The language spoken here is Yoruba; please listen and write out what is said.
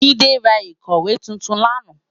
Jide rá ikòwé tútún làná